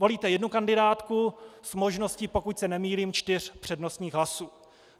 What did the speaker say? Volíte jednu kandidátku s možností, pokud se nemýlím, čtyř přednostních hlasů.